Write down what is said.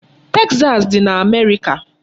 Texas dị n'Amerịka.